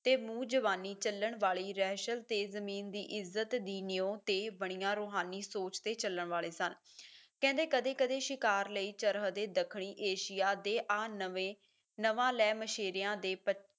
ਤੇ ਮੂੰਹ ਜ਼ੁਬਾਨੀ ਚੱਲਣ ਵਾਲੀ ਰਹਿਸ਼ਤ ਤੇ ਜ਼ਮੀਨ ਦੀ ਇੱਜਤ ਦੀ ਨਿਓ ਤੇ ਬਣੀਆਂ ਰੂਹਾਨੀ ਸੋਚ ਤੇ ਚੱਲਣ ਵਾਲੇ ਸਨ, ਕਹਿੰਦੇ ਕਦੇ ਕਦੇ ਸ਼ਿਕਾਰ ਲਈ ਚਰਹਦ ਦੇ ਦੱਖਣੀ ਏਸ਼ੀਆ ਦੇ ਆ ਨਵੇਂ ਨਵਾਂ ਲੈਮਸ਼ੇਰੇਆਂ ਦੇ ਪ